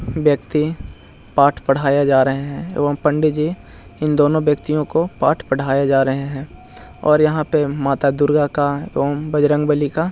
व्यक्ति पाठ पढ़ाया जा रहे है एवं पंडित जी इन दोनों व्यक्तियों को पाठ पढ़ाए जा रहे जा रहे है और यहाँ पे माता दुर्गा का एवं बजरंगबली का --